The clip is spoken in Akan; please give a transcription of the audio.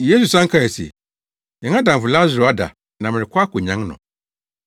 Yesu san kae se, “Yɛn adamfo Lasaro ada na merekɔ akonyan no.”